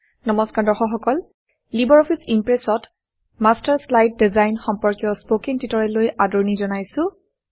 নমস্কাৰ দৰ্শক সকল লিবাৰঅফিছ ইমপ্ৰেছত মাষ্টাৰ শ্লাইড ডিজাইন সম্পৰ্কীয় স্পকেন টিউটৰিয়েললৈ আদৰণি জনাইছোঁ